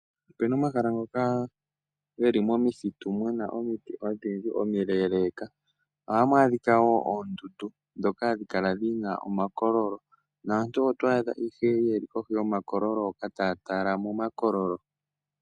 Opuna omahala ngoka geli momithitu muna omiti odhindji omileeleeka. Ohamu adhika wo oondundu ndhoka hadhi kala dhina omakololo, naantu oto adha ihe yeli kohi yomakololo hoka taya tala mo makololo.